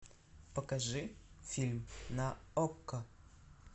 покажи фильм на окко